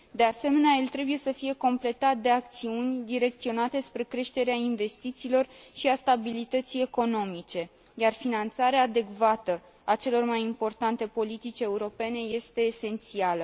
De asemenea, el trebuie să fie completat de acțiuni direcționate spre creșterea investițiilor și a stabilității economice, iar finanțarea adecvată a celor mai importante politici europene este esențială.